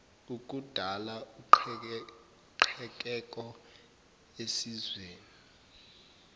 ukudala uqhekeko esizweni